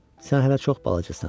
Sən hələ çox balacasan.